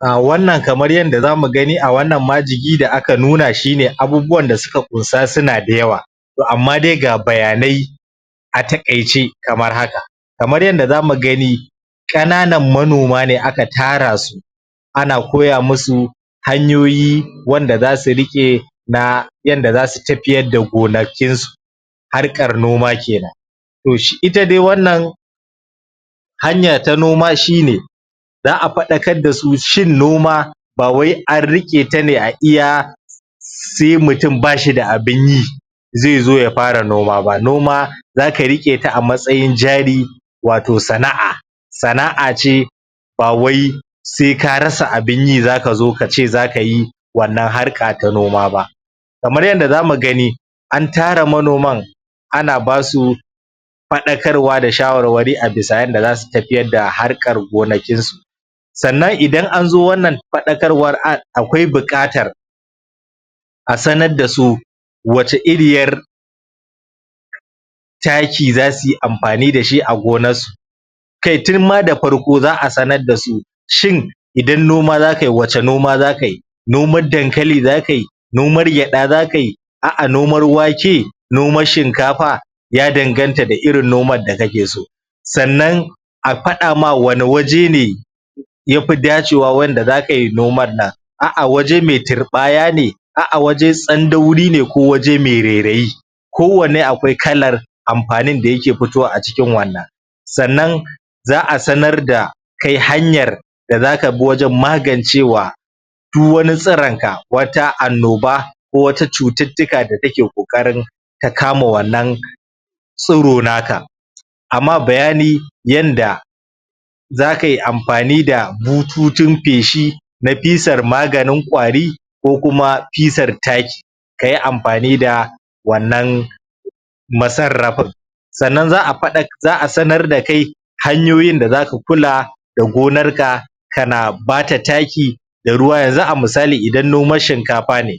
A wannan kamar yanda za mu gani a wannan majigi da aka nuna shi ne abubuwan da suka ƙunsa suna da yawa to amma dai ga bayanai a taƙaice kamar haka kamar yadda za mu gani ƙananan manoma ne aka tara su ana koya musu hanyoyi wanda za su riƙe na yanda za su tafiyar da gonakinsu harkar noma kenan to ita dai wannan hanya ta noma shi ne za a faɗakar da su shin noma ba wai an riƙe ta ne a iya sai mutum ba shi da abin yi zai zo ya fara noma ba, noma zaka riƙe ta a matsayin jari wato sana'a sana'a ce ba wai sai ka rasa abin yi zaka zo kace zaka yi wannan harka ta noma ba kamar yadda za mu gani an tara manoman ana ba su faɗakarwa da shawarwari a bisa yanda za su tafiyar da harkar gonakinsu sannan idan an zo wannan faɗakarwar akwai buƙatar a sanar da su wace iriyar taki za su amfani da shi a gonarsu kai tun ma da farko za a sanar da su shin idan noma zaka yi wace noma zaka yi naomar dankali zaka yi nomar gyaɗa zaka yi a'a nomar wake nomar shinkafa ya danganta da irin nomar da kake so sannan a fada ma wane waje ne ya fi dace wa wanda zaka yi nomar nan a'a waje mai turɓaya ce a'a waje tsandauri ne ko waje mai rairayi kowane akwai kalar amfanin da yake fitowa a cikin wannan sannan za a sanar da kai hanyar da zaka bi wajen magancewa du wani tsironka wata annoba ko wata cututtuka da take ƙoƙarin ta kama wannan tsiro naka a ma bayani yanda zaka yi amfani da bututun feshi na fisar maganin ƙwari ko kuma fisar taki ka yi amfani wannan masarrafin sannan za a sanar da kai hanyoyin da zaka kula da gonarka kana ba ta taki da ruwa yanzu a misali idan nomar shinkafa ne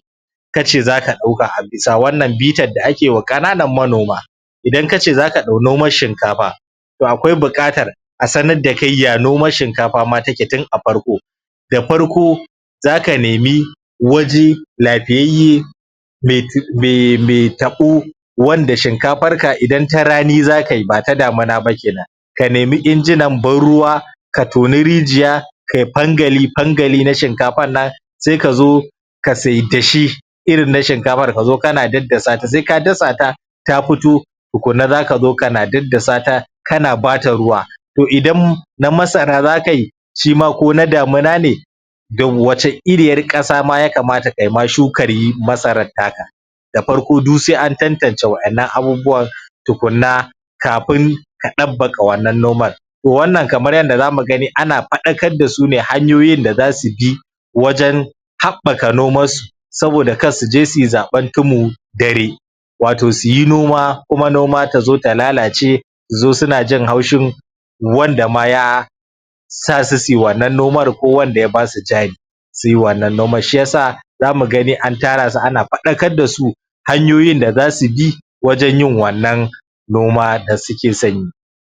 ka ce zaka dau ka a bisa wannan bitar da ake wa ƙananan manoma idan kace zaka ɗau nomar shinkafa to akwai buƙatar a sanar da kai ya nomar shinkafa ma take tun a farko da farko zaka nemi waje lafiyayye me.... me... mai taɓo wanda shinkafarka idan ta rani zaka yi ba ta damina ba kenan ka nemi injinan ban-ruwa ka toni rijiya ka yi fangali fangali na shinkafar nan sai ka zo ka saida shi irin na shinkafar ka zo kana daddasa ta sai ka dasa ta ta fito tukuna za ka zo kana daddasa ta kana ba ta ruwa to idan na masara zaka yi shi ma ko na damina da wace iriyar ƙasa ma ya kamata kai ma shukar yi masarar taka da farko du sai an tantance waɗannan abubuwan tukunna kafin ka dabbaƙa wannan noman to wannna kamar yanda za mu gani ana fadakar da su ne hanyoyin da za su bi wajen haɓɓaka nomarsu saboda kar su je su yi zaɓen tumun dare wato su yi noma kuma noma ta zon ta lalace su zo suna jin haushin wanda ma ya sa su su yi wannnan nomar ko wanda ya ba su jari su yi wannnan nomar shi ya sa za mu gani an tara su ana fadakar da su hanyoyin da za su bi wajen yin wannan noma da suke son yi.